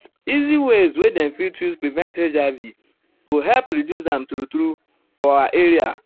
easy ways wey dem fit use prevent hiv go help reduce am true true for for our area.